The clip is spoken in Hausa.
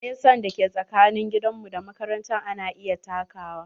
Nesa da ke tsakanin gidan mu da makaranta ana iya takawa.